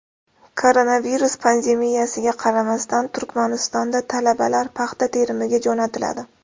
Koronavirus pandemiyasiga qaramasdan Turkmanistonda talabalar paxta terimiga jo‘natiladi.